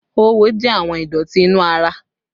Oówo jẹ àwọn ìdọ̀tí inú ara